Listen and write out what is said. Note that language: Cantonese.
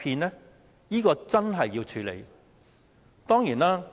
這是真正要處理的。